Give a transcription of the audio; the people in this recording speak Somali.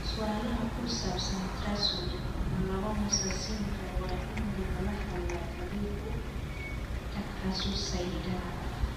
Su'aalaha ku saabsan trisomy laba mosaicismka waa in lagala hadlaa khabiir ku takhasusay hiddaha.